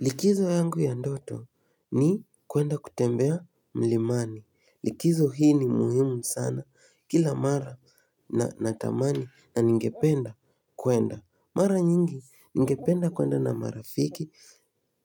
Likizo yangu ya ndoto ni kuenda kutembea mlimani. Likizo hii ni muhimu sana kila mara natamani na ningependa kwenda. Mara nyingi ningependa kwenda na marafiki